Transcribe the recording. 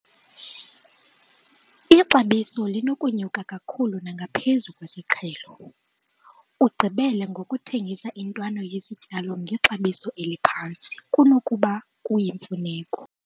b, Ixabiso linokunyuka kakhulu nangaphezu kwesiqhelo ugqibele ngokuthengisa intwana yesityalo ngexabiso eliphantsi kunokuba kuyimfuneko.